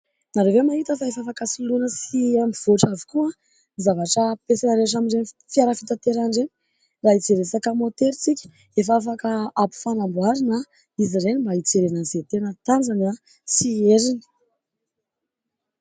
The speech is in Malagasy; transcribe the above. Ianareo ve mahita fa efa afaka soloina sy mivoatra avokoa ny zavatra ampiasaina rehetra amin'ireny fiara fitaterana ireny ? Raha hijery resaka môtera isika efa afaka hampifanamboarina izy ireny mba hijerena an'izay tena tanjany sy heriny.